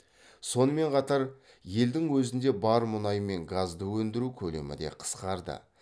сонымен қатар елдің өзінде бар мұнай мен газды өндіру көлемі де қысқарды